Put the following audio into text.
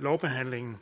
lovbehandlingen